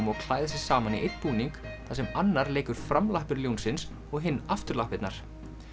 og klæða sig saman í einn búning þar sem annar leikur ljónsins og hinn afturlappirnar